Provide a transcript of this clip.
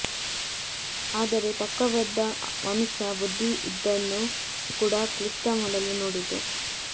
ಆದರೆ ತರ್ಕಬದ್ಧ ಮನುಷ್ಯ ಬುದ್ಧಿ ಇದನ್ನು ಕೂಡ ಕ್ಲಿಷ್ಟ ಮಾಡಲು ನೋಡಿತು